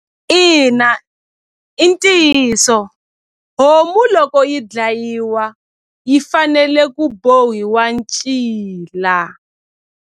Ina i ntiyiso homu loko yi dlayiwa yi fanele ku bohiwa ncila.